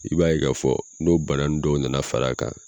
I b'a ye ka fɔ n'o bana nun dɔw na na fara a kan